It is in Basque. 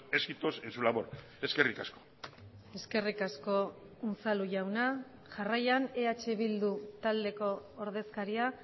éxitos en su labor eskerrik asko eskerrik asko unzalu jauna jarraian eh bildu taldeko ordezkaria